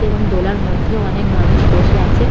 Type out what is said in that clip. এবং দোলার মধ্যেও অনেক মানুষ বসে আছে।